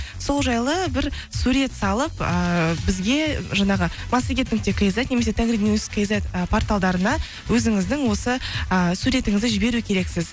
сол жайлы бір сурет салып ыыы бізге жаңағы массагет нүкте кизет немесе тенгринюс кизет і порталдарына өзіңіздің осы ы суретіңізді жіберу керексіз